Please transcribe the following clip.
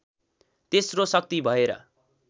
तेस्रो शक्ति भएर